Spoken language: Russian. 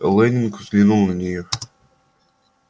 лэннинг взглянул на неё